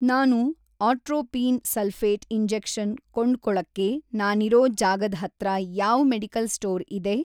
ನಾನು atropine sulphate injection ಕೊಂಡ್ಕೊಳಕ್ಕೆ ನಾನಿರೋ ಜಾಗದ್‌ ಹತ್ರ ಯಾವ್‌ ಮೆಡಿಕಲ್‌ ಸ್ಟೋರ್‌ ಇದೆ?